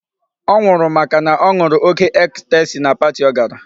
Ọ nwụrụ màkà na ọ ṅụrụ oke ecstasy na party ọ gara.